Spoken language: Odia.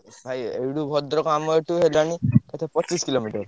ଭାଇ ଏଇଠୁ ଭଦ୍ରକ ଆମ ଏଠୁ ହେଲାଣି ବୋଧେ ପଚିଶି କିଲୋମିଟର।